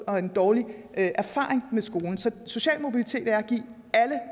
og en dårlig erfaring med skolen så social mobilitet er at give alle